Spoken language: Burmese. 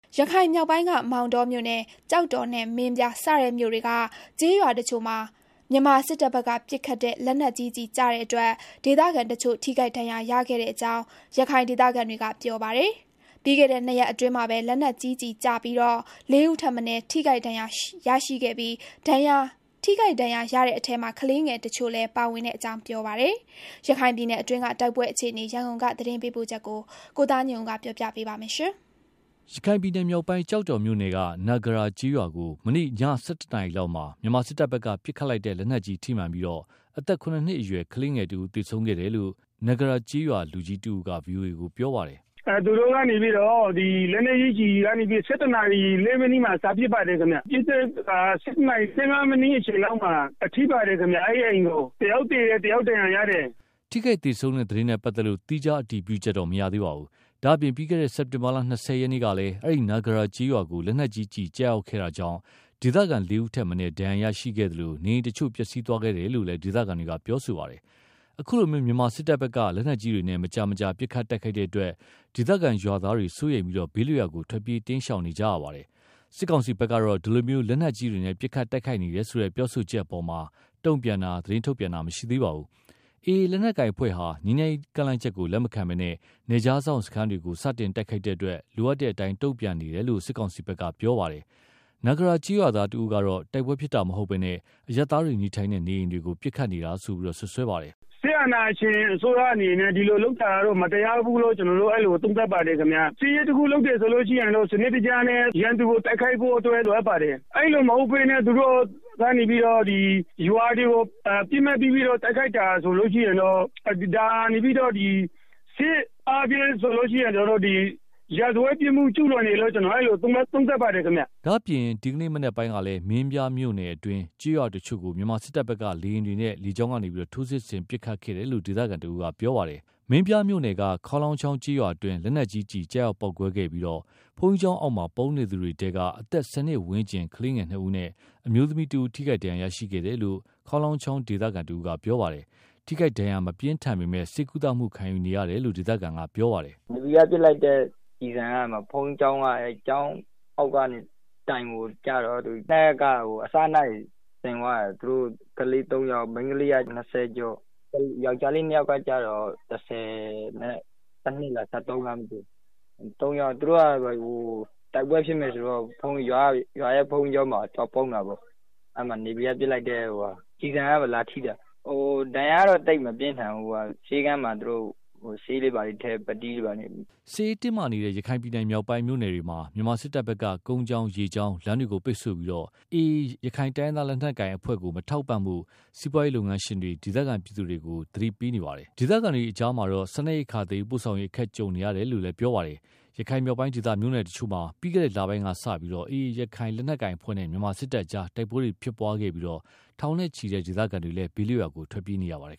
ရခိုင်မြောက်ပိုင်းက မောင်တောမြို့နယ်၊ ကျောက်တော်နဲ့ မင်းပြားစတဲ့မြို့တွေက ကျေးရွာတချို့မှာ မြန်မာစစ်တပ်ဘက်ကပစ်ခတ်တဲ့ လက်နက်ကြီးကျည်ကျတဲ့အတွက် ဒေသခံတချို့ ထိခိုက်ဒဏ်ရာရတဲ့အကြောင်း ရခိုင်ဒေသခံတွေက ပြောပါတယ်။ ပြီးခဲ့တဲ့နှစ်ရက်အတွင်း လက်နက်ကြီးကျည်ကျပြီးတော့ လေးဦးထက်မနည်းထိခိုက်ခဲ့ပြီး ဒဏ်ရာရတဲ့အထဲမှာ ကလေးငယ်တချို့လည်းပါဝင်ကြောင်း ပြောပါတယ်။ ရခိုင်ပြည်နယ်အတွင်းက တိုက်ပွဲအခြေအနေ ရန်ကုန်ကလာတဲ့သတင်းပေးပို့ချက်ကို ကိုသားညွန့်ဦးက တင်ပြပေးထားပါတယ်။ ရခိုင်ပြည်နယ်မြောက်ပိုင်း ကျောက်တော်မြို့နယ်က နဂရာရွာကို မနေ့က ည ၁၁ နာရီလောက်မှာ မြန်မာစစ်တပ်ကပစ်တဲ့ လက်နက်ကြီးထိမှန်ပြီး အသက် ၇ နှစ်အရွယ် ကလေးတဦးသေဆုံးခဲ့တယ်လို့ နဂကျေးရွာက ရွာလူကြီးတဦးက VOA ကို ပြောပါတယ်။ “သူတို့ကနေပြီးတော့ လက်နက်ကြီးကျည်တွေ ၁၁ နာရီ ၃ မိနစ်လာက်မှာ စပစ်ပါတယ်ခင်ဗျာ။ ပစ်တဲ့အခါမှာ ၁၁ နာရီ ၁၅ လောက်မှာ ထိပါတယ်ခင်ဗျာ။ အိမ်ကို။ တယောက် သေတယ်။ တယောက်ဒဏ်ရာရတယ်။” ထိခိုက်သေဆုံးတဲ့သတင်းနဲ့ပတ်သက်လို့ သီးခြားအတည်ပြုချက်တော့ မရသေးပါဘူး။ ဒါ့အပြင် ပြီးခဲ့တဲ့ စက်တင်ဘာလ ၂၀ ရက်နေ့ကလည်း အဲဒီ နဂရာကျေးရွာကို လက်နက်ကြီးကျည်ကျရောက်ခဲ့တာကြောင့် ဒေသခံ ၄ ဦး ထက်မနည်း ဒဏ်ရာရရှိခဲ့သလို နေအိမ်တချို့ပျက်စီးသွားခဲ့တယ်လို့လည်း ဒေသခံတွေက ပြောကြပါတယ်။ အခုလို မြန်မာစစ်တပ်ဘက်က လက်နက်ကြီးတွေနဲ့ မကြာခဏပစ်ခတ်တိုက်ခိုက်တဲ့အတွက် ဒေသခံကျေးရွာသားတွေစိုးရိမ်ပြီး ဘေးလွတ်ရာကို ထွက်ပြေးတိမ်ရှောင်နေကြရပါတယ်။ စစ်ကောင်စီဘက်ကတော့ ဒီလို လက်နက်ကြီးတွေနဲ့ ပစ်ခတ်တိုက်ခိုက်နေတယ်ဆိုတဲ့ ပြောဆိုချက်တွေအပေါ်မှာ တုံ့ပြန်တာ၊ သတင်းထုတ်ပြန်တာ မရှိသေးပါဘူး။ AA လက်နက်ကိုင်အဖွဲ့ဟာ ငြိမ်းချမ်းရေးကမ်းလှမ်းတာလက်မခံဘဲ နယ်ခြားစောင့်စခန်းတွေကို စတင်တိုက်ခိုက်တဲ့အတွက် လိုအပ်တဲ့အတိုင်း တုံ့ပြန်နေတယ်လို့ ပြောဆိုထားပါတယ်။ နဂရာကျေးရွာသားတဦးကတော့ တိုက်ပွဲဖြစ်တာမဟုတ်ဘဲနဲ့ အရပ်သားနေအိမ်တွေကို ပစ်ခတ်နေတာလို့ စွပ်စွဲပါတယ်။ “စစ်အာဏာရှင်အစိုးရအနေနဲ့ ဒီလိုလုပ်တာကတော့ မတရားဘူးလို့ မြင်ပါတယ်။ စစ်ရေးတခုလုပ်ရင် စနစ်တကျနဲ့ ရန်သူကို ပစ်ခတ်တိုက်ခိုက်ဖို့ လိုအပ်ပါတယ်။ အဲဒီလိုမဟုတ်ဘဲ ရွာတွေကို ပစ်မှတ် ထားပြီးတော့ တိုက်ခိုက်တာဆိုလို့ရှိရင်တော့ စစ်အားဖြင့်ဆိုလို့ရှိရင် ရာဇဝတ်ပြစ်မှုကျူးလွန်တယ်လို့ သုံးသပ်ပါတယ်။” ဒါ့အပြင် ဒီကနေ့ မနက်ပိုင်းကလည်း မင်းပြားမြို့နယ်အတွင်း ကျေးရွာတချို့ကို မြန်မာစစ်တပ်ဘက် က လေကြောင်းကနေ ထိုးစစ်ဆင်ပစ်ခတ်ခဲ့တယ်လို့ ဒေသခံတဦးကပြောပါတယ်။ မင်းပြားမြို့နယ်က ခေါင်းလောင်းချောင်းကျေးရွာအတွင်း လက်နက်ကြီးကျည် ကျရောက်ပေါက်ကွဲခဲ့ပြီး ဘုန်းကျောင်းကြီး အောက်မှာ ပုန်းနေသူတွေထဲက အသက် ၁၀ နှစ်ဝန်းကျင်ကလေးနှစ်ဦးနဲ့ အမျိုးသမီးတဦး ထိခိုက်ဒဏ်ရာရရှိခဲ့တယ်လို့ ခေါင်းလောင်းချောင်းဒေသခံတဦး ကပြောပါတယ်။ ထိခိုက်ဒဏ်ရာမပြင်းထန်ပေမယ့် ဆေးကုသခံရေတယ်လို့ ဒေသခံတဦးက ပြောပါတယ်။ “ နေဗီကပစ်လိုက်တဲ့ ကျည်ဆံက ဘုန်းကြီးကျောင်းအောက်က ကျောင်းတိုင်ကို ထိတယ်။ အဲဒီမှာ ကလေးသုံးယောက်၊ မိန်းကလေးကတော့ အသက် ၂၀ လောက်ရှိမယ်၊ ယောက်ကျားလေး နှစ်ယောက်ကတော့ ၁၀ လား၊ ၁၃ လားမသိဘူး။ သူတို့က တိုက်ပွဲဖြစ်မယ်ဆိုတော့ ဘုန်းကြီး ကျောင်းမှာ သွားပုန်းတာပေါ့။ အဲမှာ နေဗီကပစ်လိုက်တဲ့ကျည်ဆံထိတာ။ ဒဏ်ရာကတော့ သိပ်မများဘူး ပြောတယ်။ ဆေးခန်းမှာ ဆေးထည့်ပြီးတော့ ပတ်တီးစည်းထားတယ်။” စစ်ရေးတင်းမာနေတဲ့ ရခိုင်ပြည်နယ်မြောက်ပိုင်းမြို့နယ်တွေမှာ မြန်မာစစ်တပ်ဘက်က ကုန်းကြောင်း ရေကြောင်း လမ်းတွေကို ပိတ်ဆို့ပြီး၊ AA ရခိုင်တိုင်းရင်းသာလက်နက်ကိုင် အဖွဲ့ကို မထောက်ပံ့ဖို့ စီးပွားရေးလုပ်ငန်းရှင်တွေ ဒေသခံပြည်သူတွေကို စစ်တပ်က သတိပေးထားပါတယ်။ ဒေသခံတွေအကြားမှာတော့ စားနပ်ရိက္ခာသယ်ယူပို့ဆောင်ရေး အခက်ကြုံနေရတယ်လို့ ပြောပါ တယ်။ ရခိုင်မြောက်ပိုင်းဒေသ မြို့နယ်တချို့မှာ ပြီးခဲ့တဲ့လပိုင်းကစလို့ AA ရခိုင်လက်နက် ကိုင်အဖွဲ့နဲ့ မြန်မာစစ်တပ်အကြား တိုက်ပွဲတွေ ဖြစ်ပွားခဲ့ပြီး ထောင်နဲချီတဲ့ ဒေသခံတွေလည်း ဘေးလွတ်ကို ထွက်ပြေးနေရပါတယ်